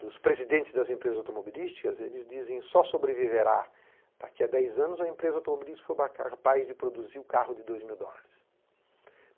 dos presidentes das empresas automobilísticas, eles dizem que só sobreviverá daqui a dez anos a empresa automobilística for capaz de produzir o carro de dois mil dólares.